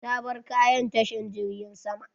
Ta bar kayan ta tashar jirjin sama.